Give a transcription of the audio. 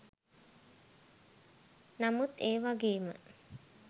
නමුත් ඒ වගේම